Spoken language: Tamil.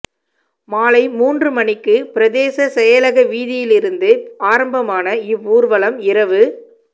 மாலை மூன்று மணிக்கு பிரதேச செயலக வீதியிலிருந்து ஆரம்பமான இவ்வூர்வலம் இரவு